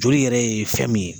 Joli yɛrɛ ye fɛn min ye